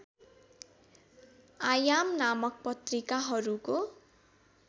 आयाम नामक पत्रिकाहरूको